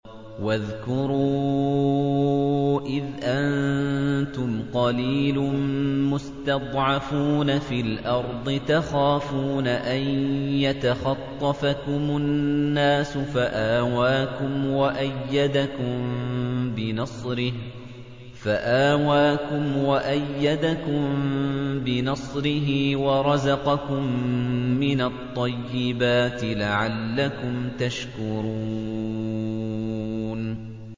وَاذْكُرُوا إِذْ أَنتُمْ قَلِيلٌ مُّسْتَضْعَفُونَ فِي الْأَرْضِ تَخَافُونَ أَن يَتَخَطَّفَكُمُ النَّاسُ فَآوَاكُمْ وَأَيَّدَكُم بِنَصْرِهِ وَرَزَقَكُم مِّنَ الطَّيِّبَاتِ لَعَلَّكُمْ تَشْكُرُونَ